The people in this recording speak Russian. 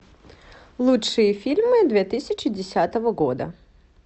лучшие фильмы две тысячи десятого года